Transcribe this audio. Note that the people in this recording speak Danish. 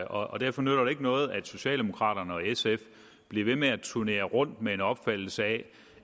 og derfor nytter det ikke noget at socialdemokrater og sf bliver ved med at turnere rundt med en opfattelse af